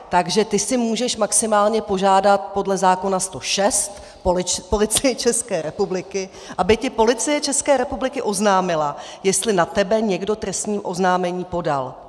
Takže ty si můžeš maximálně požádat podle zákona 106 Policii České republiky, aby ti Policie České republiky oznámila, jestli na tebe někdo trestní oznámení podal.